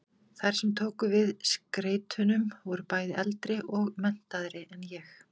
Þær sem tóku við skeytunum voru bæði eldri og menntaðri en ég.